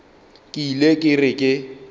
ke ile ke re ke